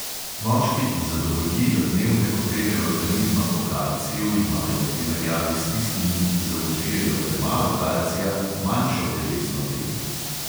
Moški, ki zadovoljijo dnevne potrebe organizma po kalciju, imajo v primerjavi s tistimi, ki zaužijejo premalo kalcija, manjšo telesno težo.